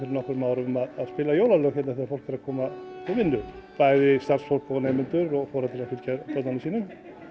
nokkrum árum að spila jólalög þegar fólk er að koma til vinnu bæði starfsfólk og nemendur og foreldrar að fylgja börnunum sínum